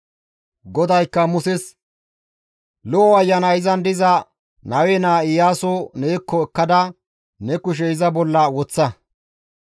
GODAYKKA Muses, «Lo7o ayanay izan diza Nawe naa Iyaaso neekko ekkada ne kushe iza bolla woththa.